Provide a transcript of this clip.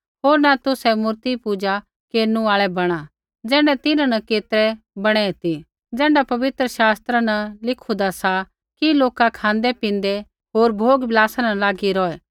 होर न तुसै मूर्तिपूजा केरनु आल़ै बणा ज़ैण्ढै तिन्हां न केतरै बणै ती ज़ैण्ढा पवित्र शास्त्रा न लिखुदा सा कि लोका खाँदै पिन्दै होर भोगविलासा न लागी रौहै